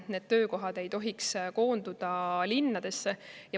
Need töökohad ei tohiks koonduda linnadesse.